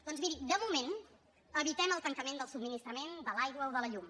doncs mirin de moment evitem el tancament del subministrament de l’aigua o de la llum